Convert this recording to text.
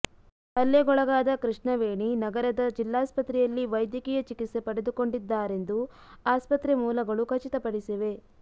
ಹಲ್ಲೆಗೊಳಗಾದ ಕೃಷ್ಣವೇಣಿ ನಗರದ ಜಿಲ್ಲಾಸ್ಪತ್ರೆಯಲ್ಲಿ ವೈದ್ಯಕೀಯ ಚಿಕಿತ್ಸೆ ಪಡೆದುಕೊಂಡಿದ್ದಾರೆಂದು ಆಸ್ಪತ್ರೆ ಮೂಲಗಳು ಖಚಿತ ಪಡಿಸಿವೆ